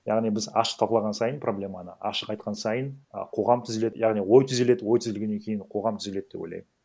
яғни біз ашық талқылаған сайын проблеманы ашық айтқан сайын а қоғам түзеледі яғни ой түзеледі ой түзелгеннен кейін қоғам түзеледі деп ойлаймын